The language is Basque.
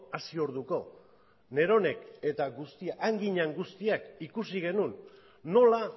hasi orduko neronek eta han ginen guztiak ikusi genuen nola